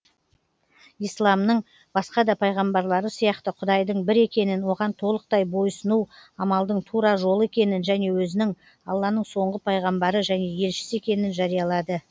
исламның басқа да пайғамбарлары сияқты құдайдың бір екенін оған толықтай бойсұну амалдың тура жолы екенін және өзінің алланың соңғы пайғамбары және елшісі екенін жариялады